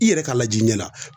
I yɛrɛ ka lajɛ i ɲɛ la